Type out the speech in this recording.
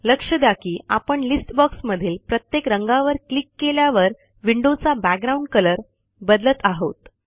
लक्ष द्या की आपण लिस्ट बॉक्समधील प्रत्येक रंगावर क्लिक केल्यावर विंडोचा बॅकग्राउंड कलर बदलत आहोत